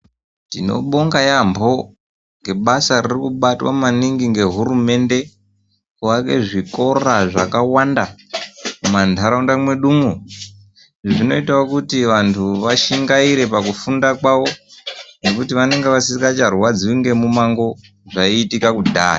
Tinobonga yambo, ngebasa ririkubatwa maningi ngehurumende kuaka zvikora zvakawanda mumandaraunda mwedumwo zvinoitawo kuti vantu vashingaire pakufunda kwavo ngekuti vanenge vasingacharwadziwi ngemumango zvaiitika kudhaya.